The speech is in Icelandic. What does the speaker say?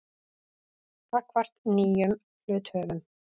gagnvart nýjum hluthöfum.